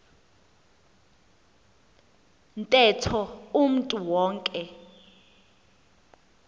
ntetho umntu wonke